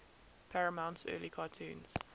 paramount's early cartoons